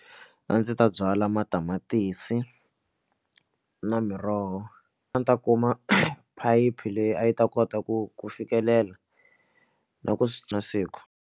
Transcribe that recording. A ndzi ta byala matamatisi na miroho. A ni ta kuma phayiphi leyi a yi ta kota ku ku fikelela na ku na siku.